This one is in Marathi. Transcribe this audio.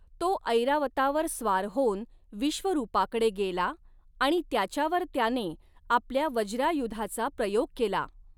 तो ऐरावतावर स्वार होऊन विश्वरूपाकडे गेला आणि त्याच्यावर त्याने आपल्या वज्रायुधाचा प्रयोग केला.